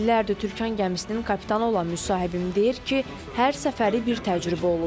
İllərdir Türkan gəmisinin kapitanı olan müsahibim deyir ki, hər səfəri bir təcrübə olub.